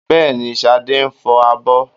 Bẹ́ẹ̀ni, Ṣadé ń fọ abọ́